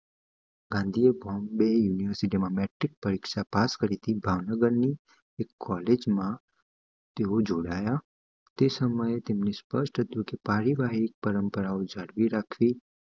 ગાંધીએ બોમ્બે યુનિવર્સિટી માં મેટ્રિક્સ પરીક્ષા પાસ કરી હતી ભાવનગર ની એક કોલેજ માં તેઓ જોડાયા તે સમયે તેમને સ્પષ્ટ હતું કે પારિવારિક પરંપરાઓ જાળવી રાખવી